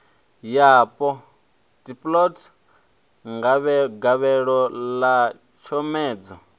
yapo dplg gavhelo ḽa tshomedzo